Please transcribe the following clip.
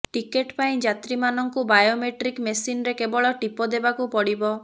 ଟିକେଟପାଇଁ ଯାତ୍ରୀମାନଙ୍କୁ ବାୟୋମେଟ୍ରିକ୍ ମେସିନରେ କେବଳ ଟିପ ଦେବାକୁ ପଡିବ